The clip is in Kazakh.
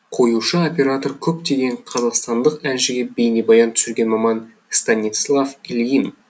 қоюшы оператор көптеген қазақстандық әншіге бейнебаян түсірген маман станислав ильин